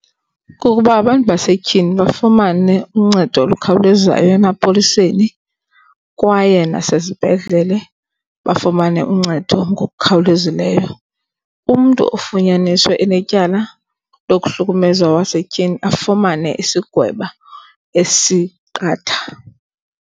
Kukuba abantu basetyhini bafumane uncedo olukhawulezayo emapoliseni kwaye nasezibhedlele bafumane uncedo ngokukhawulezileyo. Umntu ofunyaniswe enetyala lokuhlukumeza owasetyhini afumane isigwebo esiqatha.